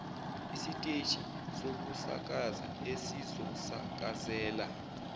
isiteshi sokusakaza esizosakazela